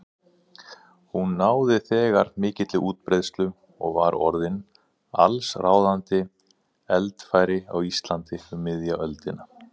Hún náði þegar mikilli útbreiðslu og var orðin allsráðandi eldfæri á Íslandi um miðja öldina.